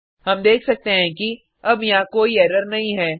हम देख सकते हैं कि अब यहाँ कोई एरर नहीं है